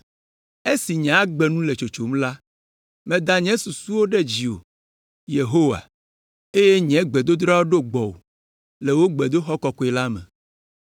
“Esi nye agbe nu le tsotsom la, meda nye susuwo ɖe dziwò, Yehowa, eye nye gbedodoɖa ɖo gbɔwò le wò gbedoxɔ kɔkɔe la me.